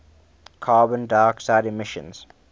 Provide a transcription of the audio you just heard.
carbon dioxide emissions